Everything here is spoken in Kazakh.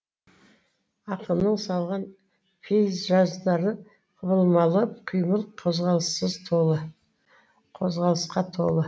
ақынның салған пейзаждары құбылмалы қимыл қозғалысқа толы